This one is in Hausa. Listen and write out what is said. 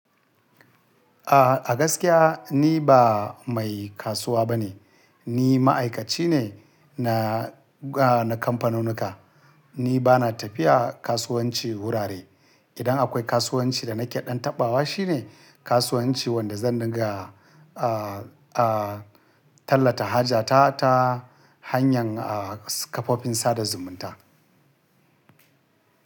A'a, a gaskiya ni ba mai kasuwa bane. Ni ma'aikaci ne na, a, na kamfanunka. Ni ba na tafiya kasuwanci wurare. Idan akwai kasuwanci da nake ɗan taɓawa shi ne kasuwancin wanda zan riga, a, a, talla ta haja ta, ta hanyar, a, kafofin sada zumunta.